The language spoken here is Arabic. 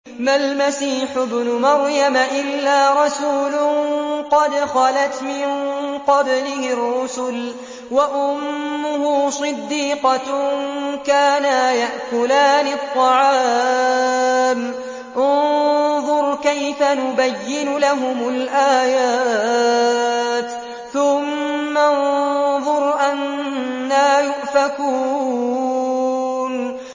مَّا الْمَسِيحُ ابْنُ مَرْيَمَ إِلَّا رَسُولٌ قَدْ خَلَتْ مِن قَبْلِهِ الرُّسُلُ وَأُمُّهُ صِدِّيقَةٌ ۖ كَانَا يَأْكُلَانِ الطَّعَامَ ۗ انظُرْ كَيْفَ نُبَيِّنُ لَهُمُ الْآيَاتِ ثُمَّ انظُرْ أَنَّىٰ يُؤْفَكُونَ